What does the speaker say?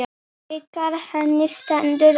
Bikar henni stendur á.